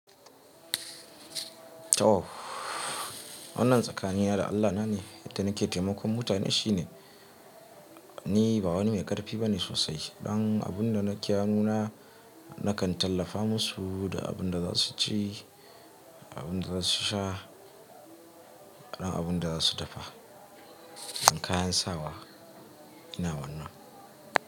Toh. Wannan tsakanin na da Allah na ne, yadda nake taimakon mutane shine ni ba wani mai ƙarfi bane sosai. Ɗan abun da nake hanuna nakan tallafa musu da abun da za su ci, abun da za su sha, da abun da za su dafa, da kayan sawa. Ina wannan.